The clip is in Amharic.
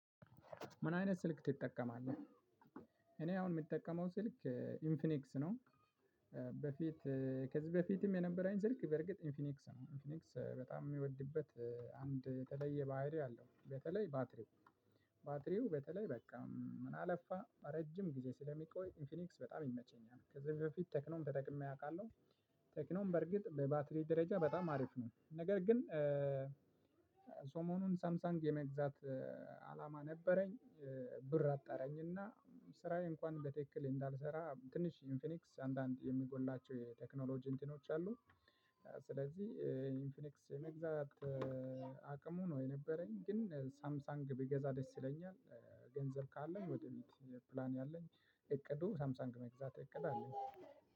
ምን አይነት ስልክ ትጠቀማለህ? እኔ አሁን ምጠቀመው ስልክ ኢንፍኒክስ ነው። በፊት ከዚህ በፊትም የነበረኝ ስልክ በርግጥ ኢንፊኒክስ ነው ኢንፊኒክስ በጣም ምወድበት አንድ የተለየ ባህሪ አለው። በተለይ ባትሪው ባትሪው በተለይ በቃ ምን አለፋ ረጅም ጊዜ ስለሚቆይ ኢንፊኒክስ በጣም ይመቸኛል። ከዚህ በፊት ቴክኖም ተጠቅሜ አቃለሁ። ቴክኖም በርግጥ በባትሪ ደረጃ በጣም አሪፍ ነው። ነገር ግን። ሰሞኑን ሳምሳንግ የመግዛት አላማ ነበረኝ። ብር አጣረኝና ስራዬ እንኳን በትክክል እንዳልሰራ ትንሽ ኢንፊኒክስ አንዳንድ የሚጎላቸው የቴክኖሎጂ እንትኖች አሉ። ስለዚህ ኢንፊኒክስ የመግዛት አቅሙ ነው የነበረኝ ግን ሳምሳንግ ብገዛ ደስ ይለኛል። ገንዘብ ካለን ወደ ፊት ፕላን ያለኝ እቅዱ ሳምሰንግ መግዛት እቅድ አለ።